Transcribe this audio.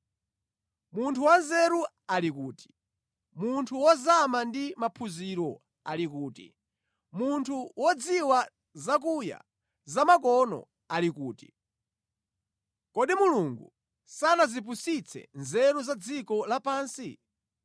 Munthu wanzeru ali kuti? Munthu wozama ndi maphunziro ali kuti? Munthu wodziwa zakuya zamakono ali kuti? Kodi Mulungu sanazipusitse nzeru za dziko lapansi?